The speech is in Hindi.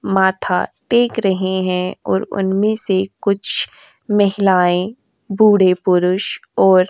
माथा टेक रहे हैं और उनमें से कुछ महिलाएं बूढ़े पुरुष और --